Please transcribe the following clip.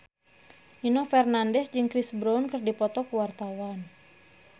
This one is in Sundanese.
Nino Fernandez jeung Chris Brown keur dipoto ku wartawan